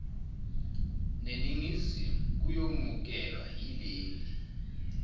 neningizimu kuyomukelwa yileli